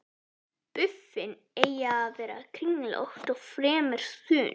Buffin eiga að vera kringlótt og fremur þunn.